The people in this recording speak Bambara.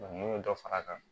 n'u ye dɔ fara a kan